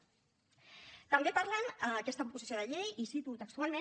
també parlen en aquesta proposició de llei i cito textualment